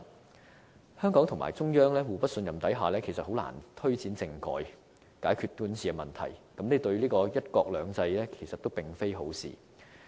在香港和中央互不信任下，實難以推展政改，解決管治問題，這對"一國兩制"並非好事。